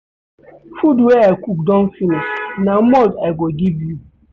Food wey I cook don finish na malt I go give you.